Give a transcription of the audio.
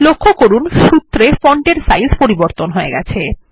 লক্ষ্য করুন সুত্রে ফন্টের সাইজ পরিবর্তন হয়ে গেছে